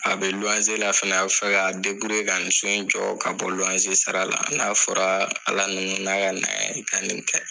A bɛ luwanze la fɛnɛ a bɛ fɛ ka ka nin so in jɔ ka bɔ luwanze sara la n'a fɔra Ala na na n'a ka na ye ka nin kɛ